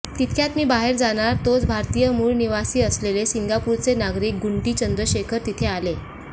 तितक्यात मी बाहेर जाणार तोच भारतीय मूळ निवासी असलेले सिंगापूरचे नागरीक गुंटी चंद्रशेखर तिथे आले